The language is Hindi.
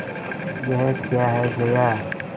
यह क्या है जया